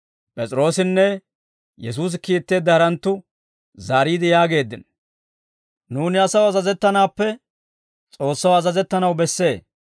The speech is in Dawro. P'es'iroossinne Yesuusi kiitteedda haranttu zaariide yaageeddino; «Nuuni asaw azazettanaappe S'oossaw azazettanaw bessee.